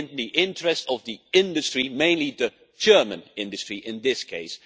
It is in the interest of the industry, mainly the German industry, in this case.